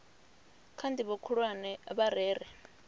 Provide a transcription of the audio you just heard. kha ndivho khulwane vha rere